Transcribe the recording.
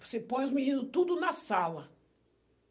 Você põe os meninos tudo na sala.